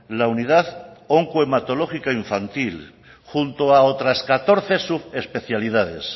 la unidad onco hematológica infantil junto a otras catorce subespecialidades